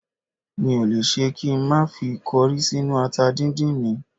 Mi ò le ṣe kí n má fi kọrí sínú ata dídín mi